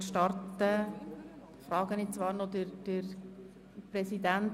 Wir starten somit mit den Voten der Antragsteller.